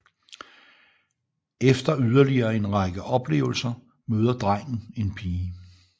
Efter yderligere en række oplevelser møder drengen en pige